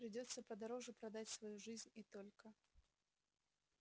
придётся подороже продать свою жизнь и только